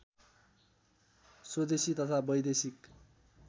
स्वदेशी तथा वैदेशिक